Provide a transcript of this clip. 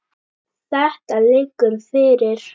Þetta liggur fyrir.